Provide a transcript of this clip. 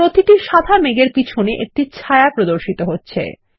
প্রতিটি সাদা মেঘ এর পিছনে একটি ছায়া প্রদর্শিত হচ্ছে